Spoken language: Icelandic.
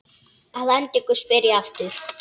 Að endingu spyr ég aftur.